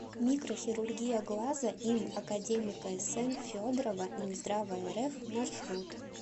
микрохирургия глаза им академика сн федорова минздрава рф маршрут